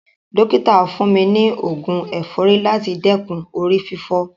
Dọ́kítà fún mi ni oògun ẹ̀fọ́rí láti dẹ́kun orí fífọ́.